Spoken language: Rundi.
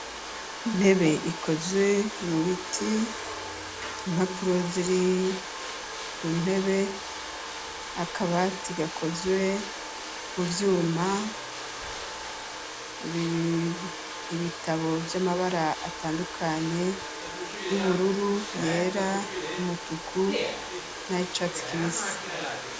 Intebe ikozwe, mu biti, imapuro ziri, ku ntebe, akabati gakozwe mu vyuma ,ibitabo vy'Amabara atandukanye ,y'ubururu ,yera, y'umutuku, nayicatsi kibisi.